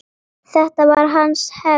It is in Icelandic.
Þetta var hans hefð.